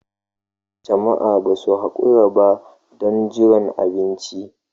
Jama'a ba su haƙura ba don jiran abinci.